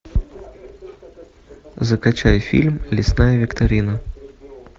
закачай фильм лесная викторина